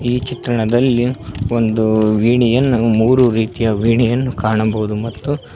ಈ ಚಿತ್ರಣದಲ್ಲಿ ಒಂದು ವೀಣೆಯನ್ನು ಮೂರು ರೀತಿಯ ವೀಣೆಯನ್ನು ಕಾಣಬಹುದು ಮತ್ತು--